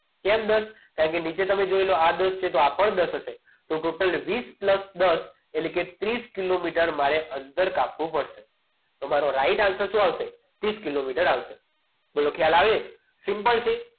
ત્યારબાદ કારણ કે નીચે તમે જોઈ લો આદર્શ છે એટલે આ પણ દસ હશે તો total ટોટલ વીસ pulse દસ એટલે કે ત્રીસ કિલોમીટર મારે અંતર કાપવું પડશે તો મારો right answer શું આવશે ત્રીસ કિલોમીટર આવશે બોલો ખ્યાલ આવે simple છે